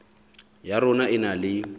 ya rona e na le